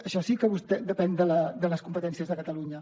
això sí que depèn de les competències de catalunya